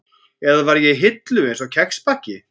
Eða var ég í hillu, einsog kexpakki?